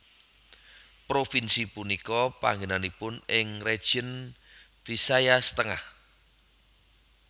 Provinsi punika panggènanipun ing Region Visayas Tengah